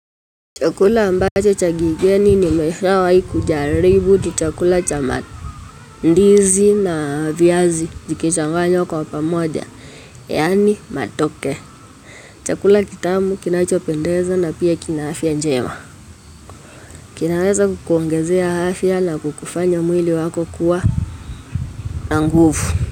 Chakula ambacho cha kigeni nimeshawahi kujaribu ni chakula cha mandizi na viazi vikichanganywa kwa pamoja, yaani matoke. Chakula kitamu, kinachopendeza na pia kina afya njema. Kinaweza kukuongezea afya na kukufanya mwili wako kuwa na nguvu.